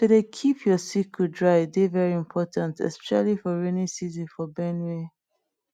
to dey keep your sickle dry dey very important especially for rainy season for benue